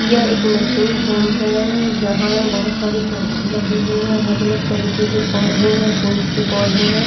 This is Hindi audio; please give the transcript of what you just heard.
यह एक नर्सिंग होम है। यहाँ बहोत सारे पौधे लगे हुए हैं। अलग अलग तरीके के पौधे हैं फूल्स के पौधे हैं।